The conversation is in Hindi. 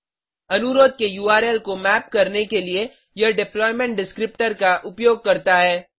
अनुरोध के उर्ल को मैप करने के लिए यह डिप्लॉयमेंट डिस्क्रिप्टर का उपयोग करता है